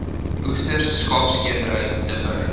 oesters skaapskeerdery dippery